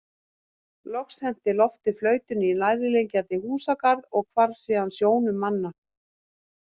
Loks henti Loftur flautunni í nærliggjandi húsagarð og hvarf síðan sjónum manna.